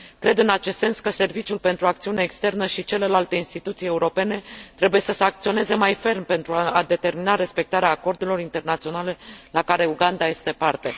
Cred, în acest sens, că serviciul pentru acțiune externă și celelalte instituții europene trebuie să sancționeze mai ferm, pentru a determina respectarea acordurilor internaționale la care Uganda este parte.